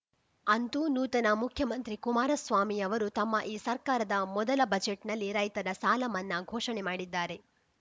ಅಂತೂ ನೂತನ ಮುಖ್ಯಮಂತ್ರಿ ಕುಮಾರಸ್ವಾಮಿಯವರು ತಮ್ಮ ಈ ಸರ್ಕಾರದ ಮೊದಲ ಬಜೆಟ್‌ನಲ್ಲಿ ರೈತರ ಸಾಲ ಮನ್ನಾ ಘೋಷಣೆ ಮಾಡಿದ್ದಾರೆ